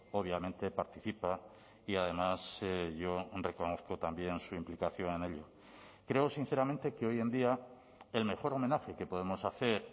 obviamente participa y además yo reconozco también su implicación en ello creo sinceramente que hoy en día el mejor homenaje que podemos hacer